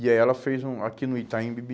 E aí ela fez um aqui no Itaim Bibi,